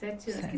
Sete anos.